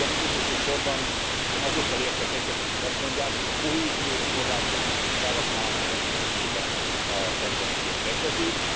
Végül, de nem utolsó sorban, én azokkal értek egyet, akik azt mondják, hogy a kohéziós források felhasználása tekintetében a tendencia kedvezőbb.